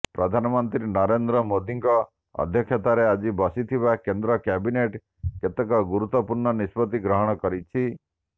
ପ୍ରଧାନମନ୍ତ୍ରୀ ନରେନ୍ଦ୍ର ମୋଦୀଙ୍କ ଅଧ୍ୟକ୍ଷତାରେ ଆଜି ବସିଥିବା କେନ୍ଦ୍ର କ୍ୟାବିନେଟ୍ କେତେକ ଗୁରୁତ୍ୱପୂର୍ଣ୍ଣ ନିଷ୍ପତ୍ତି ଗ୍ରହଣ କରିଛି